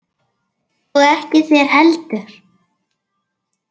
Og ekki þér heldur!